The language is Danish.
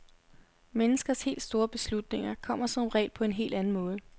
Menneskers helt store beslutninger kommer som regel på en helt anden måde.